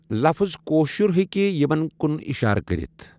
لفظ كأشُر ہیٚکہ یِمن کُن اِشارٕ کٔرِتھ